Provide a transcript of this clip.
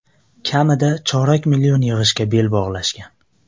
Kamida chorak million yig‘ishga bel bog‘lashgan.